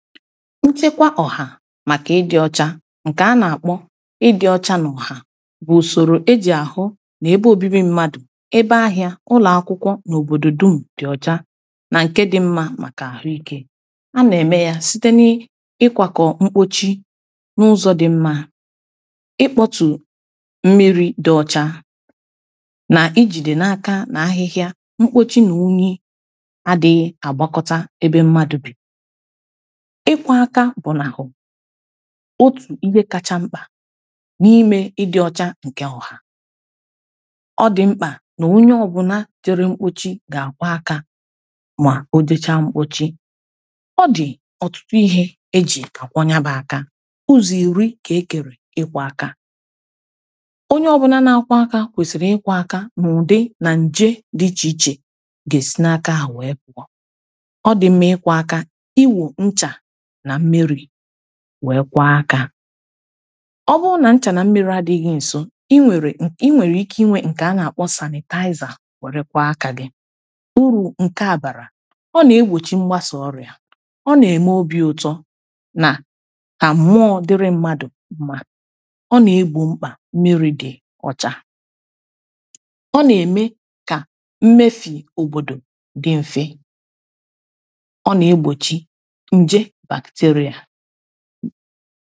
nchekwa ọha maka ị dị ọcha nke a na-akpọ ị dị ọcha n’ọha bụ usoro eji ahụ na ebe obibi mmadụ ebe ahịa ụlọakwụkwọ n’obodo dum dị ọcha na nke dị mma maka ahụike a na-eme ya site n’ịkwakọ mkpochi n’ụzọ dị mma ịkpọtu mmiri dị ọcha na ijide n’aka n’ahịhịa mkpochi na unyi adịghị agbakọta ebe mmadụ bì ịkwọ aka bụ n'ahụ otu ihe kacha mkpa n’ime ịdị ọcha nkewọ ha ọ dị mkpa na onye ọbụna tere mkpochi ga-akwọ aka ma o jechaa mkpochi ọ dị ọtụtụ ihe e ji akwọ nya bụ aka ụzọ iri ka ekere ịkwọ aka onye ọbụna na-akwọ aka kwesiri ịkwọ aka n’ụdị na nje dị iche iche ga-esi n’aka ha wee pụọ ọ dị mma ịkwọ aka iwo ncha werekwa akȧ ọ bụrụ nà ncha na mmiri adịghị ǹso i nwèrè i nwèrè ike inwe nke a nà-àkpọ sanị̀tààịzà werekwa akȧ gị uru nke à bàrà ọ nà-egbòchi mgbasà ọrịà ọ nà-ème obi ụtọ nà kà mụọ dịrị mmadụ̀ ụmụ̀ ọ nà-egbo mkpà mmiri dị ọ̀chà a nà-ème kà mmefi òbòdò dị mfe anaya na